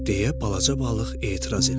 deyə balaca balıq etiraz elədi.